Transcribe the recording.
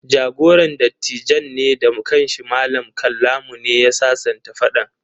Jagoran dattijan ne da kan shi, Mallam Kallamu, ne ya sasanta faɗan.